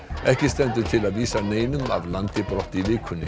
ekki stendur til að vísa neinum af landi brott í vikunni